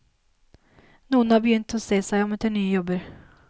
Noen har begynt å se seg om etter nye jobber.